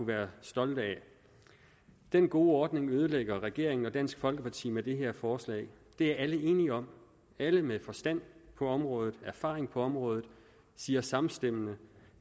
være stolte af den gode ordning ødelægger regeringen og dansk folkeparti med det her forslag det er alle enige om alle med forstand på området erfaring på området siger samstemmende